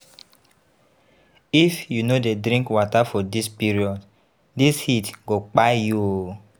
If you no dey drink water for dis period, dis heat go kpai you o.